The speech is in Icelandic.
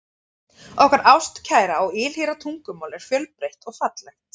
Okkar ástkæra og ylhýra tungumál er fjölbreytt og fallegt.